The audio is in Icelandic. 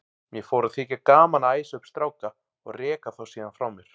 Mér fór að þykja gaman að æsa upp stráka og reka þá síðan frá mér.